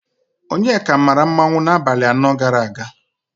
Onyeka maara mmanwụ n'abalị anọ gara aga.